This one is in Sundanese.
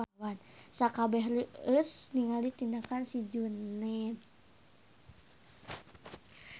Sakabeh reueus ningali tindakan si Juned